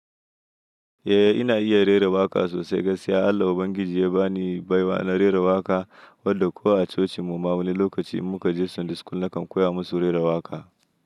Eh, ina iya rera waƙa sosai. Gaskiya Allah ubangiji ya ba ni baiwa na rera waƙa, wanda ko a cocin mu ma wani lokaci in muka je Sunday school nakan koya musu rera waƙa.